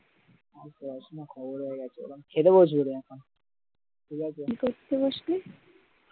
আর পড়াশোনা খবর হয়ে গেছে খেতে বসব এখন ঠিক আছে কি করতে বসবি